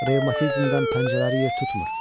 Revmatizmdən pəncələri yer tutmur.